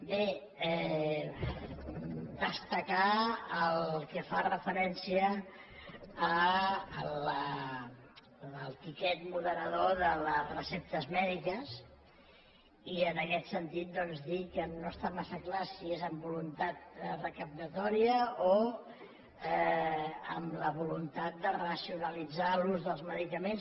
bé destacar el que fa referència al tiquet moderador de les receptes mèdiques i en aquest sentit doncs dir que no està massa clar si és amb voluntat recaptatòria o amb la voluntat de racionalitzar l’ús dels medicaments